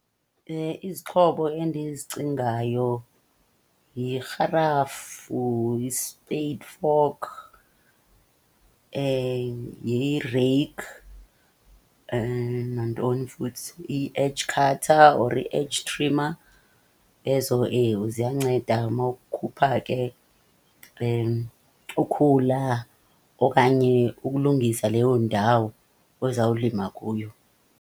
Izixhobo endizicingayo yirharafu, yi-spade fork, yireyikhi nantoni futhi? I-edge cutter or i-edge trimmer. Ezo, ewe, ziyanceda mawukhupha ke ukhula okanye ukulungisa leyo ndawo ozawulima kuyo.